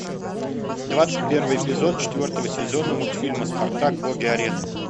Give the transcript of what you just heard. двадцать первый эпизод четвертого сезона мультфильма спартак боги арены